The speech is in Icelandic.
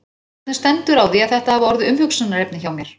Hvernig stendur á því að þetta hafa orðið umhugsunarefni hjá mér?